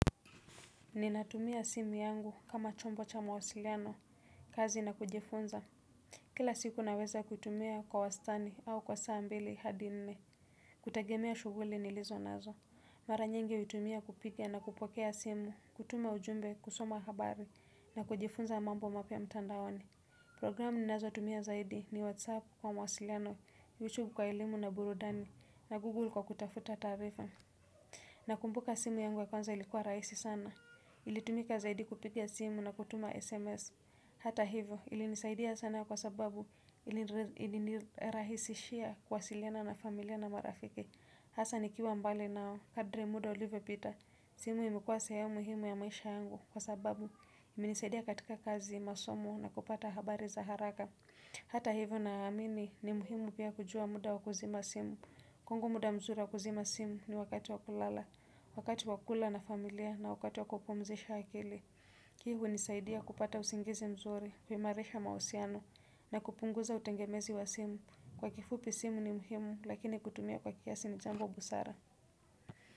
Ninatumia simu yangu kama chombo cha mawasiliano kazi na kujifunza. Kila siku naweza kutumia kwa wastani au kwa saa mbili hadi nne kutegemea shughuli nilizo nazo. Maranyingi utumia kupiga na kupokea simu. Kutuma ujumbe kusoma habari na kujifunza mambo mapya mtandaoni. Programu ninazo tumia zaidi ni whatsapp kwa mawasiliano ni youtube kwa elimu na burudani na google kwa kutafuta taarifa nakumbuka simu yangu ya kwanza ilikuwa rahisi sana. Ilitumika zaidi kupiga simu na kutuma SMS. Hata hivyo ilinisaidia sana kwa sababu ilinirahisishia kuwasiliana na familia na marafiki. Hasa ni kiwa mbali nao kadri muda ulivyo pita. Simu imekuwa sehemu muhimu ya maisha yangu kwa sababu imenisaidia katika kazi masomo na kupata habari za haraka. Hata hivyo na amini ni muhimu pia kujua muda waku zima simu. Kwangu muda mzuri wakuzima simu ni wakati wakulala, wakati wakula na familia na wakati wakupumzisha akili. Hii hunisaidia kupata usingizi mzuri huimarisha mahusiano na kupunguza utengemezi wa simu. Kwa kifupi simu ni muhimu lakini kutumia kwa kiasi ni jambo busara.